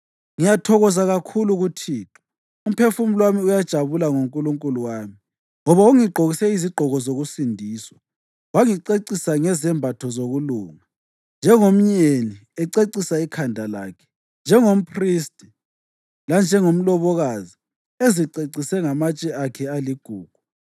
Ngiyathokoza kakhulu kuThixo; umphefumulo wami uyajabula ngoNkulunkulu wami. Ngoba ungigqokise izigqoko zokusindiswa, wangicecisa ngezembatho zokulunga, njengomyeni ececisa ikhanda lakhe njengomphristi, lanjengomlobokazi ezicecise ngamatshe akhe aligugu.